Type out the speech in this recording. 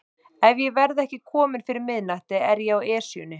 Ef ég verð ekki kominn fyrir miðnætti er ég á Esjunni